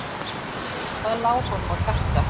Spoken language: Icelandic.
Hvað lá honum á hjarta?